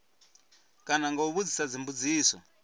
kana nga u vhudzisa dzimbudziso